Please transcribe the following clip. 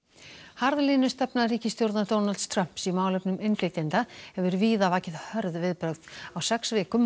harðlínustefna ríkisstjórnar Donalds Trumps í málefnum innflytjenda hefur víða vakið hörð viðbrögð á sex vikum